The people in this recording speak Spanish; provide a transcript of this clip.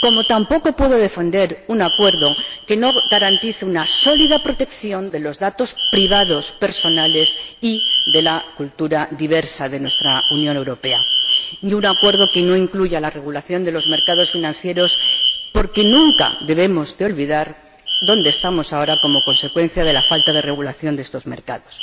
Tampoco puedo defender un acuerdo que no garantice una sólida protección de los datos privados personales, y de la cultura diversa de nuestra Unión Europea, ni un acuerdo que no incluya la regulación de los mercados financieros, porque nunca debemos olvidar dónde estamos ahora como consecuencia de la falta de regulación de estos mercados.